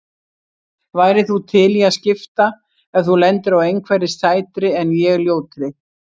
Værir þú til í að skipta ef þú lendir á einhverri sætri en ég ljótri?